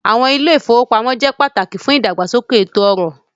Banks are important for economic development